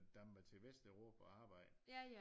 Der må til Vesteuropa og arbejde